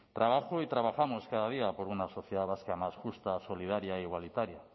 trabajo y trabajamos cada día por una sociedad vasca más justa solidaria e igualitaria